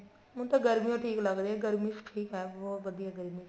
ਹੁਣ ਤਾਂ ਗਰਮੀ ਓ ਠੀਕ ਲੱਗਦੀ ਹੈ ਗਰਮੀ ਚ ਠੀਕ ਹੈ ਬਹੁਤ ਵਧੀਆ ਗਰਮੀ ਚ